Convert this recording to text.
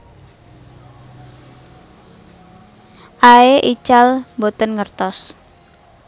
Aey ical boten ngertos